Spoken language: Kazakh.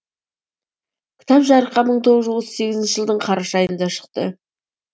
кітап жарыққа мың тоғыз жүз отыз сегізінші жылдың қараша айында шықты